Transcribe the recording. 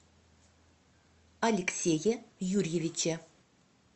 алексее юрьевиче